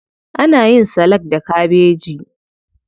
Ana yin salak da kabeji.